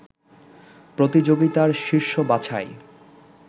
প্রতিযোগিতার শীর্ষ বাছাই